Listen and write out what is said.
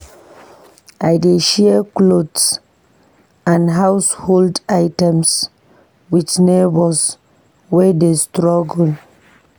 I dey share clothes and household items with neighbors wey dey struggle.